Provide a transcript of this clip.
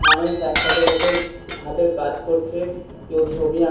মানুষ একসাথে বসে হাতের কাজ করছে কেউ ছবি আঁক --